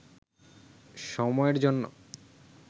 সময়ের জন্য